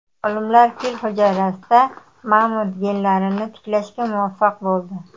Olimlar fil hujayrasida mamont genlarini tiklashga muvaffaq bo‘ldi.